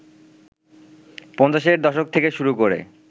পঞ্চাশের দশক থেকে শুরু করে